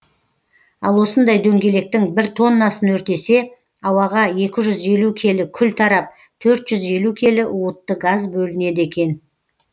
ал осындай дөңгелектің бір тоннасын өртесе ауаға екі жүз елу келі күл тарап төрт жүз елу келі уытты газ бөлінеді екен